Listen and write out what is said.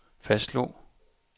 fastslog